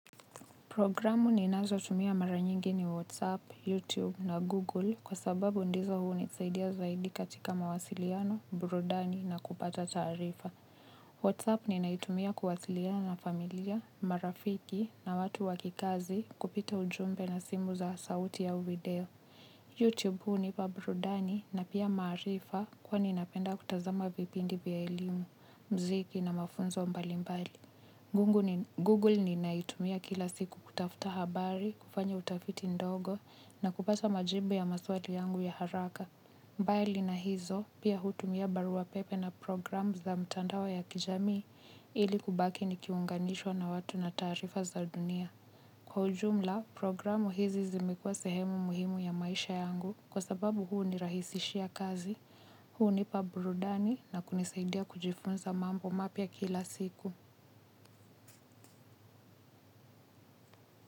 Programu ni nazo tumia mara nyingi ni WhatsApp, YouTube na Google kwa sababu ndizo huu ni saidia zaidi katika mawasiliano, burudani na kupata taarifa. WhatsApp ni naitumia kuwasiliana na familia, marafiki na watu wakikazi kupita ujumbe na simu za sauti au video. Youtube huunipa burudani na pia maarifa kwani napenda kutazama vipindi vya elimu muziki na mafunzo mbali mbali ngungu ni Google ni naitumia kila siku kutafuta habari, kufanya utafiti ndogo na kupata majibu ya maswali yangu ya haraka. Bali na hizo pia hutumia barua pepe na programu za mtandao ya kijamii ili kubaki nikiunganishwa na watu na taarifa za dunia. Kwa ujumla, programu hizi zimekua sehemu muhimu ya maisha yangu kwa sababu huu ni rahisishia kazi, huu nipa burudani na kunisaidia kujifunza mambo mapya kila siku.